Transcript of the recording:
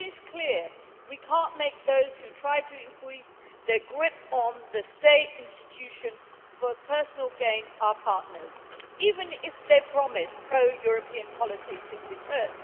Clearly, we cannot turn those who are trying to increase their grip on the state institutions for personal gain into our partners, even if they promise pro European policies in return.